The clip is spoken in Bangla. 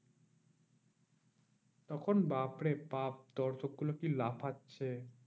তখন বাপ্ রে বাপ্ দর্শক গুলো কি লাফাচ্ছে?